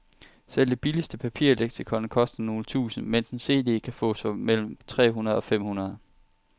Selv det billigste papirleksikon koster nogle tusinde, mens en cd kan fås for mellem tre hundrede og fem hundrede.